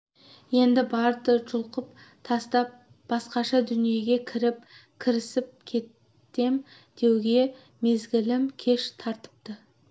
енді барды жұлқып тастап басқаша дүниеге кіріп кірісіп кетем деуге мезгілім кеш тартыпты